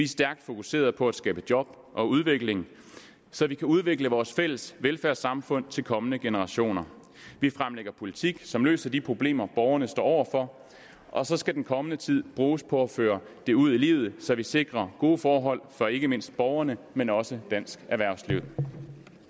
stærkt fokuserede på at skabe job og udvikling så vi kan udvikle vores fælles velfærdssamfund til kommende generationer vi fremlægger politik som løser de problemer borgerne står over for og så skal den kommende tid bruges på at føre det ud i livet så vi sikrer gode forhold for ikke mindst borgerne men også dansk erhvervsliv